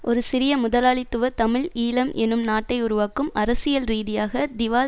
ஒரு சிறிய முதலாளித்துவ தமிழ் ஈழம் என்னும் நாட்டை உருவாக்கும் அரசியல் ரீதியாக திவால்